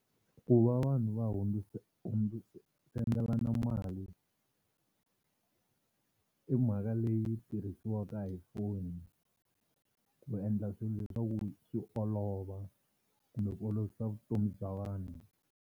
Ku va vanhu va hundziselana mali i mhaka leyi tirhisiwaka hi foni ku endla swilo leswaku swi olova kumbe ku olovisa vutomi bya vanhu.